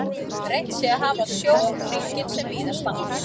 Reynt sé að hafa sjónhringinn sem víðastan.